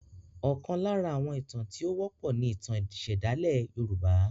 Ọkàn lára àwọn ìtàn tí o wọ́pọ̀ ní ìtàn ìsèdálẹ̀ yorùbá.